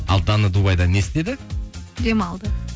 ал дана дубайда не істеді демалды